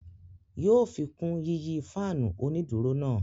Yóò fikun yiyi faanu oniduro náà